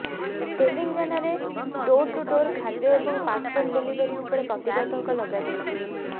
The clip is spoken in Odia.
ତେଲେଙ୍ଗାନାରେ ଡୁର ଟୁ ଡୁର ଖାଦ୍ୟ ଏବଂ ପାର୍ସଲ ଡେଲିଭରୀ ଉପରେ ପ୍ରତିବନ୍ଧକ ଲଗାଯାଇଛି